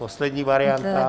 Poslední varianta.